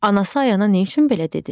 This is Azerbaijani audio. Anası Ayana nə üçün belə dedi?